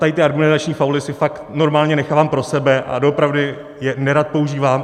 Tady ty argumentační fauly si fakt normálně nechávám pro sebe a doopravdy je nerad používám.